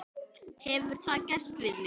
Hefur það gerst við mig?